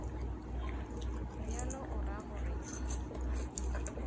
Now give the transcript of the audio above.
bjalo o ra gore ke